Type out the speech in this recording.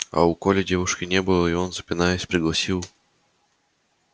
а у коли девушки не было и он запинаясь пригласил